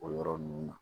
O yɔrɔ ninnu na